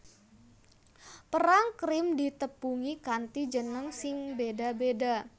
Perang Krim ditepungi kanthi jeneng sing béda béda